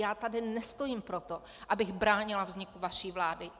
Já tady nestojím proto, abych bránila vzniku vaší vlády.